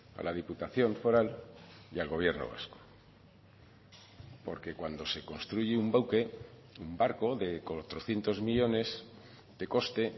a la diputación foral y al gobierno vasco porque cuando se construye un buque un barco de cuatrocientos millónes de coste